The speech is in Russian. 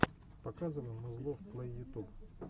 показывай музлов плей ютуб